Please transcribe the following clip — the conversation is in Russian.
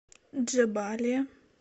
джебалия